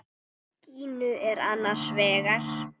Gínu er annars vegar.